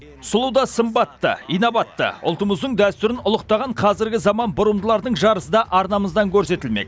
сұлу да сымбатты инабатты ұлтымыздың дәстүрін ұлықтаған қазіргі заман бұрымдылардың жарысы да арнамыздан көрсетілмек